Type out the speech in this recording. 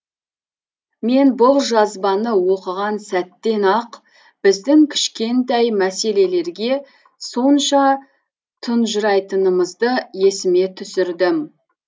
мен бұл жазбаны оқыған сәттен ақ біздің кішкентай мәселелерге сонша тұнжырайтынымызды есіме түсірдім